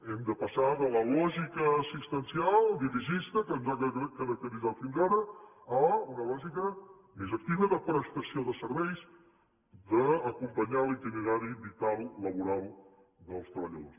hem de passar de la lògica assistencial dirigista que ens ha caracteritzat fins ara a una lògica més activa de prestació de serveis d’acompanyar en l’itinerari vital laboral dels treballadors